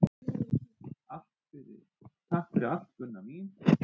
Takk fyrir allt, Gunna mín.